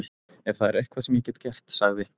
Ef það er eitthvað sem ég get gert- sagði